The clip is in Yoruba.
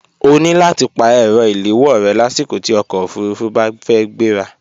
O ní láti pa ẹ̀rọ ìléwọ́ rẹ lásìkò tí ọkọ̀ òfurufú bá fẹ́ gbéra